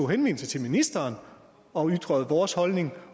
henvendelse til ministeren og ytrede vores holdning